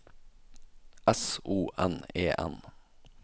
S O N E N